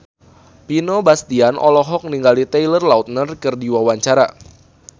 Vino Bastian olohok ningali Taylor Lautner keur diwawancara